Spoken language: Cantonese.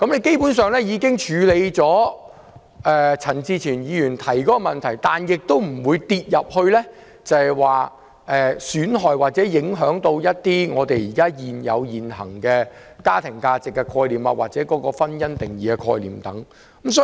基本上，這樣便可處理陳志全議員提出的問題，同時又不會損害或影響我們現行的家庭價值或"婚姻"的定義。